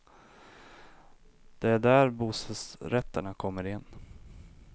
Det är där bostadsrätterna kommer in.